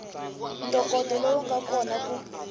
ntokoto lowu nga kona ku